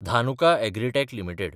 Dhanuka Agritech limited